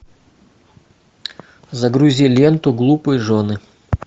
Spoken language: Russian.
загрузи ленту глупые жены